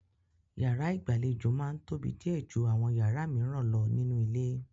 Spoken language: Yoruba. Yàrá ìgbàlejò máa ń tóbi díẹ̀ ju àwọn yàrá mìíràn lọ nínú ilé.